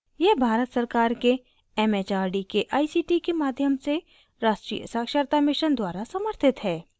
यह भारत सरकार के it it आर डी के आई सी टी के माध्यम से राष्ट्रीय साक्षरता mission द्वारा समथित है